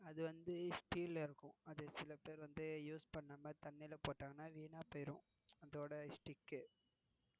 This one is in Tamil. அது வந்து steel ல இருக்கும் அது சில பேர் வந்து use பண்ணாம தண்ணில போட்டா வீணா போயிரும் அதோட stick